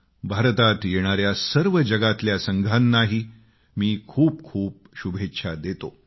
भारतात येणाऱ्या सर्व जगातल्या संघानाही मी खूप खूप शुभेच्छा देतो